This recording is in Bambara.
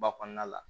Ba kɔnɔna la